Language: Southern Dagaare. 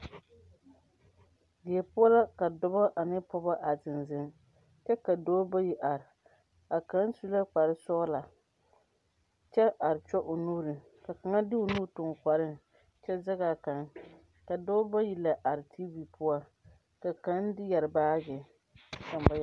Die poɔla ka dɔba ane pɔgeba ziŋziŋ kyɛ ka dɔba bayi are kaŋ su la kpare sɔglaa kyɛ are kyɔ o nuuri ka kaŋa de o ni tuŋ o kɔriŋ kyɛ zɛŋ a kaŋ ka dɔba bayi are tiivi poɔ ka kaŋ yɛre baagi ka kaŋ ba yɛre.